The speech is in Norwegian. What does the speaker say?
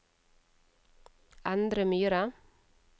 Endre Myhre